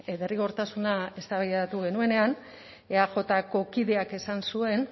derrigortasuna eztabaidatu genuenean eajko kideak esan zuen